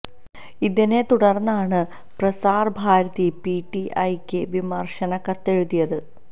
ഇതിനെ തുടർന്നാണ് Prasar Bharati P T I ക്ക് വിമർശന കത്ത് എഴുതിയത്